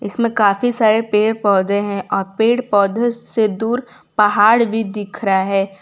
इसमें काफी सारे पेड़ पौधे हैं और पेड़ पौधे से दूर पहाड़ भी दिख रहा है।